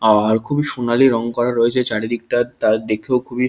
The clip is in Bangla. আর খুবই সোনালী রং করা রয়েছে চার দিকটা তা দেখেও খুবই।